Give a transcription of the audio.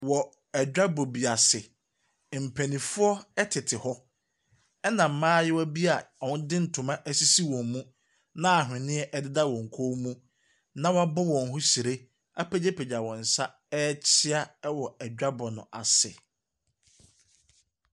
Wo adwabɔ bi ase, mpanyinfoɔ ɛtete hɔ ɛna mmaayewa bi a ɔde ntoma ɛsisi wɔn mu na awheniɛ ededa wɔn kɔn mu na wabɔ wɔn ho hyire apegyapegya wɔn nsa ɛɛkyea wɔ edwabɔ no ase.